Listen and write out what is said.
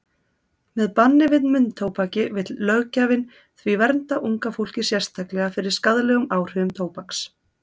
Með banni við munntóbaki vill löggjafinn því vernda unga fólkið sérstaklega fyrir skaðlegum áhrifum tóbaks.